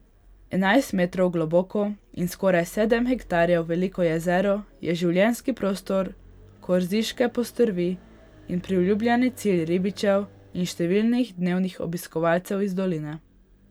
Enajst metrov globoko in skoraj sedem hektarjev veliko jezero je življenjski prostor korziške postrvi in priljubljen cilj ribičev in številnih dnevnih obiskovalcev iz doline.